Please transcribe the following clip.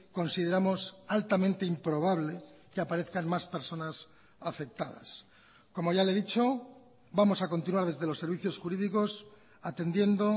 consideramos altamente improbable que aparezcan más personas afectadas como ya le he dicho vamos a continuar desde los servicios jurídicos atendiendo